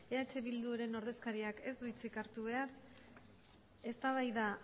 eh bilduren ordezkariak ez du hitzi hartu behar eztabaida